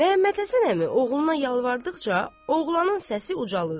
Məmmədhəsən əmi oğluna yalvardıqca oğlanın səsi ucalırdı.